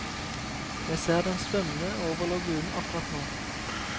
Jeg ser dem svømme over lagunen akkurat nå.